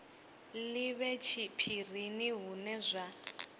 li vhe tshiphirini hune zwa